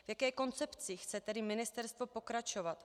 V jaké koncepci chce tedy ministerstvo pokračovat?